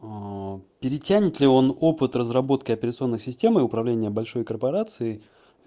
перетянет ли он опыт разработки операционных систем и управление большой корпорации